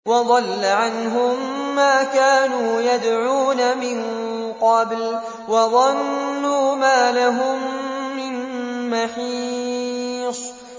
وَضَلَّ عَنْهُم مَّا كَانُوا يَدْعُونَ مِن قَبْلُ ۖ وَظَنُّوا مَا لَهُم مِّن مَّحِيصٍ